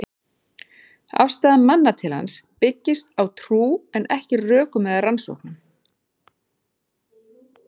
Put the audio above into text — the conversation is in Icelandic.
Afstaða manna til hans byggist á trú, en ekki rökum eða rannsóknum.